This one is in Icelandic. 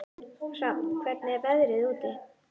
Hrafn, hvernig er veðrið úti?